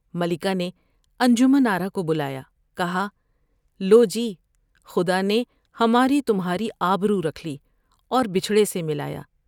ملکہ نے انجمن آرا کو بلایا ، کہا '' لو جی خدا نے ہماری تمھاری آبرورکھ لی اور بچھڑے سے ملایا ۔